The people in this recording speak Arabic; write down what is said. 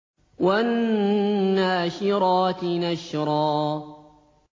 وَالنَّاشِرَاتِ نَشْرًا